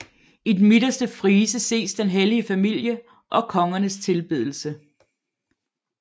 I den midterste frise ses Den hellige familie og Kongernes tilbedelse